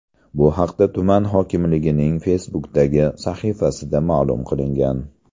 Bu haqda tuman hokimligining Facebook’dagi sahifasida ma’lum qilingan .